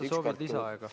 Kas te soovite lisaaega?